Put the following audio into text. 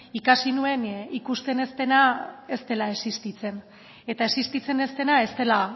ikasi nuen ikusten ez dena ez dela existitzen eta existitzen ez dena ez dela